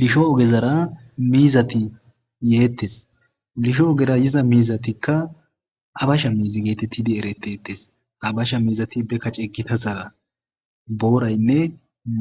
Lisho ogerazara miizati yeettees lisho ogera yiza miizatika habasha miiza getetidi erettees habasha miizati be kace gitazara booraynne